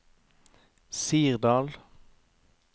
Sirdal